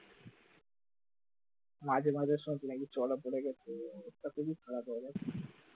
মাঝে মাঝে শুনছি নাকি চড়া পড়ে গেছে তা খুবই খারাপ হয়ে গেছে